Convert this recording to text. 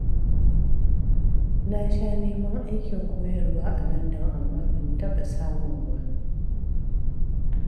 Na sha neman aikin koyarwa a London amma ban taɓa samu ba.